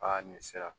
Aa nin sera